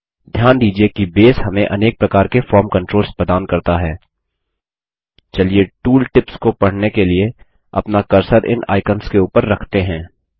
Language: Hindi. ध्यान दीजिये कि बेस हमें अनेक प्रकार के फॉर्म कंट्रोल्स प्रदान करता है चलिए टूल टिप्स को पढने के लिए अपना कर्सर इन आइकंस के ऊपर रखते हैं